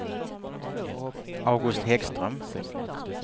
August Häggström